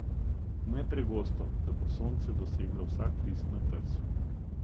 Ne pregosto, da bo sonce doseglo vsak list na trsu.